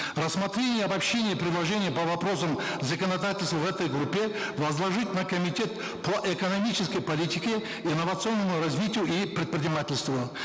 рассмотрение и обобщение предложений по вопросам законодательства в этой группе возложить на комитет по экономической политике инновационному развитию и предпринимательству